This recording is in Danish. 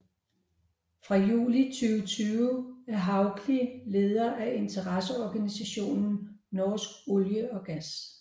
Fra juli 2020 er Hauglie leder af interesseorganisationen Norsk olje og gass